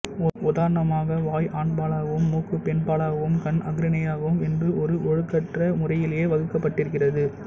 உதாரணமாக வாய் ஆண்பாலாகவும் மூக்கு பெண்பாலாகவும் கண் அஃறிணையாகவும் என்று ஓர் ஒழுங்கற்ற முறையிலேயே வகுக்கப் பட்டிருக்கிறது